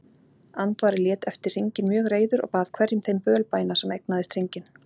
Andvari lét eftir hringinn mjög reiður og bað hverjum þeim bölbæna sem eignaðist hringinn.